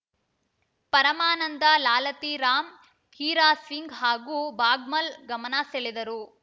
ಪರಮಾನಂದ ಲಾಲತಿ ರಾಮ್‌ ಹೀರಾ ಸಿಂಗ್‌ ಹಾಗೂ ಭಾಗ್ಮಲ್‌ ಗಮನ ಸೆಳೆದರು